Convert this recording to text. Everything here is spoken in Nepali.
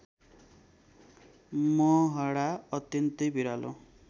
मोहडा अत्यन्तै भिरालो